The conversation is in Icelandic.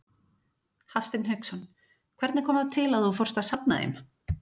Hafsteinn Hauksson: Hvernig kom það til að þú fórst að safna þeim?